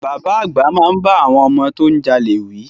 Bàbá àgbà máa bá àwọn ọmọ tó ń jalè wí.